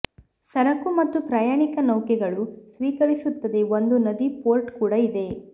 ಸರಕು ಮತ್ತು ಪ್ರಯಾಣಿಕ ನೌಕೆಗಳು ಸ್ವೀಕರಿಸುತ್ತದೆ ಒಂದು ನದಿ ಪೋರ್ಟ್ ಕೂಡ ಇದೆ